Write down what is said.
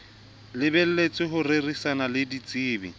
lebelletswe ho rerisana le ditsebi